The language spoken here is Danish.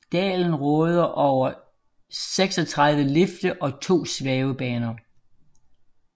Dalen råder over 36 lifte og 2 svævebaner